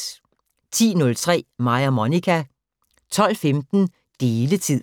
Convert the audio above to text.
10:03: Mig og Monica 12:15: Deletid